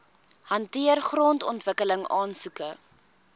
hanteer grondontwikkeling aansoeke